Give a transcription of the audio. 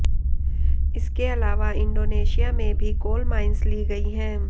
इसके अलावा इण्डोनेशिया में भी कोल माइंस ली गई है